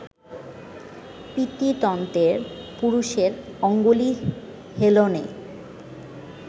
পিতৃতন্ত্রের, পুরুষের অঙ্গুলি হেলনে